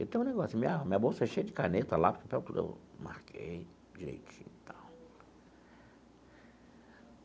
Eu tenho um negócio, minha minha bolsa é cheia de caneta, lápis papel tudo eu marquei direitinho tal.